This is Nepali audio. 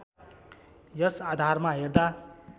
यस आधारमा हेर्दा